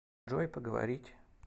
джой поговорить